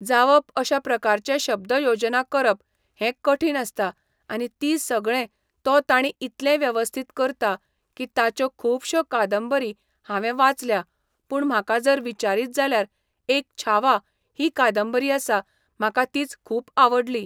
जावप अश्या प्रकाराचे शब्द योजना करप हें कठीण आसता आनी ती सगळें तो ताणी इतलें वेवस्थीत करता की ताच्यो खुबश्यो कादंबरी हांवें वाचल्या पूण म्हाका जर विचारीत जाल्यार एक छावा ही कादंबरी आसा म्हाका तीच खूब आवडली.